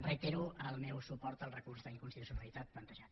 reitero el meu suport al recurs d’inconstitucionalitat plantejat